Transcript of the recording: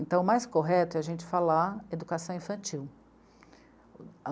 Então, o mais correto é a gente falar Educação Infantil.